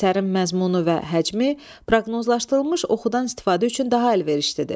Əsərin məzmunu və həcmi proqnozlaşdırılmış oxudan istifadə üçün daha əlverişlidir.